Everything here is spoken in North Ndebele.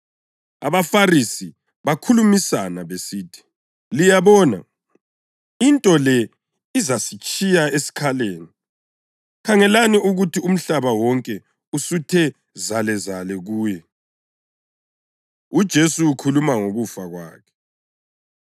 AbaFarisi bakhulumisana besithi, “Liyabona, into le izasitshiya esikhaleni. Khangelani ukuthi umhlaba wonke usuthe zalezale kuye!” UJesu Ukhuluma Ngokufa Kwakhe